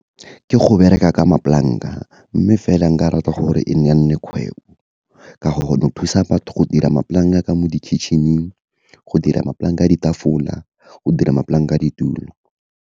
Ke go bereka ka mapolanka, mme fela nka rata gore e nne kgwebo, ka gore go thusa batho go dira mapolanka ka mo di-kitchen-ing, go dira mapolanka a ditafola, go dira mapolanka a ditulo.